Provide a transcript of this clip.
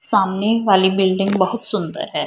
सामने वाली बिल्डिंग बहुत सुन्दर है।